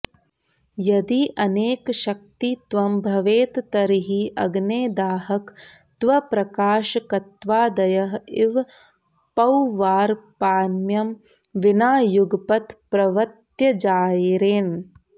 यदि अनेकशक्तित्वं भवेत् तर्हि अग्नेः दाहकत्वप्रकाशकत्वादयः इव पौर्वापर्यं विना युगपत् प्रवृत्तयः जायेरन्